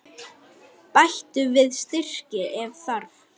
Bættu við sykri ef þarf.